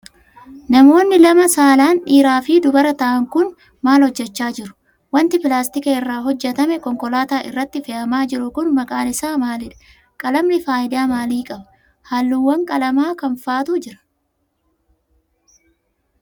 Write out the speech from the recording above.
Namoonni lama saalaan dhiiraa fi dubara ta'an kun, maal hojjachaa jiru? Wanti pilaastika irraa hojjatame konkolaataa irratti fe'amaa jiru kun maqaan isaa maalidha? Qalamni faayidaa maalii qaba? Haalluuwwan qalamaa kam faatu jira?